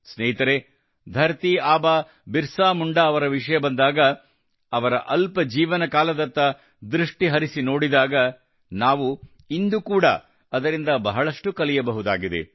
ಸ್ನೇಹಿತರೇ ಧರತೀ ಆಬಾ ಬಿರ್ಸಾ ಮುಂಡಾ ಅವರ ವಿಷಯ ಬಂದಾಗ ಅವರ ಅಲ್ಪ ಜೀವನಕಾಲದತ್ತ ದೃಷ್ಟಿ ಹರಿಸಿ ನೋಡಿದಾಗ ನಾವು ಇಂದು ಕೂಡಾ ಅದರಿಂದ ಬಹಳಷ್ಟು ಕಲಿಯಬಹುದಾಗಿದೆ